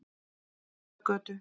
Fjarðargötu